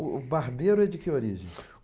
O Barbeiro é de que origem?